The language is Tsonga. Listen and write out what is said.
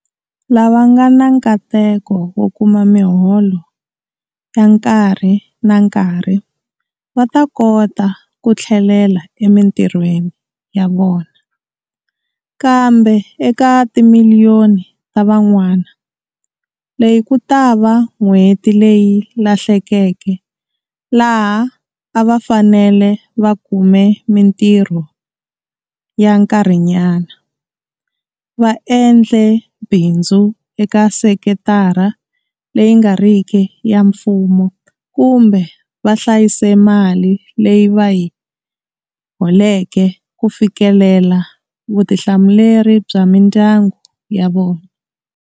Lava nga na nkateko wo kuma miholo ya nkarhi na nkarhi va ta kota ku tlhelela emitirhweni ya vona, kambe eka timiliyoni ta van'wana, leyi ku ta va n'hweti leyi lahlekeke laha a va fanele va kume mitirho ya nkarhinyana, va endle bindzu eka sekitara leyi nga riki ya mfumo kumbe va hlayise mali leyi va yi holeke ku fikelela vutihlamuleri bya mindyangu ya vona.